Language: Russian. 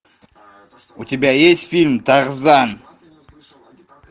у тебя есть фильм тарзан